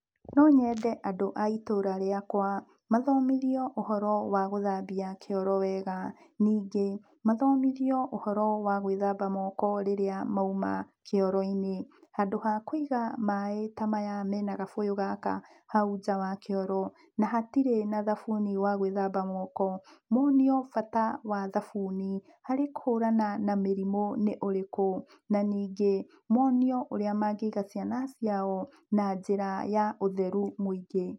No nyende andũ a itũra rĩakwa mathomithio ũhoro wa gũthambia kĩoro wega, ningĩ, mathomithio ũhoro wa gwĩthamba moko rĩrĩa mauma kĩoro-inĩ. Handũ ha kũiga maaĩ ta maya mena gabũyũ gaka hau nja wa kĩoro, na hatirĩ na thabuni wa gwĩthamba moko, monio bata wa thabuni harĩ kũhũrana na mĩrimũ nĩ ũrĩkũ, na ningĩ, monio ũrĩa mangĩiga ciana ciao na njĩra ya ũtheru mũingĩ.